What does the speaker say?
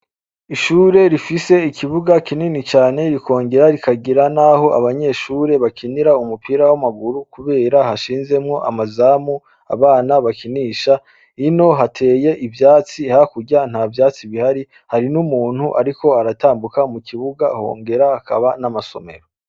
Ishure rifise ikibuga kinini cane rikongera kikagira naho abanyeshure bakinira umupira w’amaguru kubera hashinzemwo amazamu abana bakinisha, hino hateye ivyatsi, hakurya ntavyatsi bihari, hari n’umuntu ariko aratambuka mukibuga hongera hakaba n’amasomero.